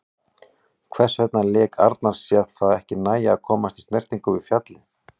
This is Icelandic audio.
Hvers vegna lét Arnar sér það ekki nægja að komast í snertingu við fjallið?